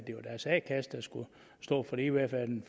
står for det i hvert fald den